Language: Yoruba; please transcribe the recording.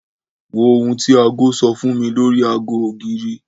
Wo ohun tí aago sọ fún mi lórí aago ògiri.